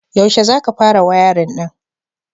Yaushe za ka fara wayarin ɗin?